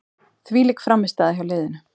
Þvílík frammistaða hjá liðinu.